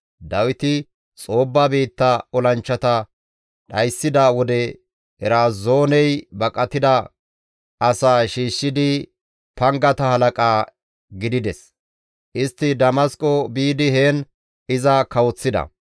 Dawiti Xoobba biitta olanchchata dhayssida wode Erazooney baqatida asaa shiishshidi pangata halaqa gidides; istti Damasqo biidi heen iza kawoththida.